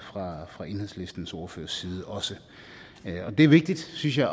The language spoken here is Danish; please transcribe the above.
fra enhedslistens ordførers side og det er vigtigt synes jeg